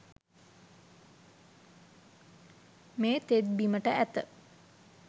මේ තෙත් බිමට ඇත